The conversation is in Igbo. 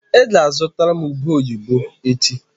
Ị ga-azụtara m ube oyibo echi.